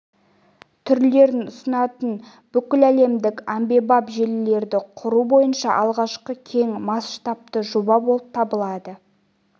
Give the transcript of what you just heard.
түрлерін ұсынатын бүкіләлемдік әмбебап желілерді құру бойынша алғашқы кең масштабты жоба болып табылады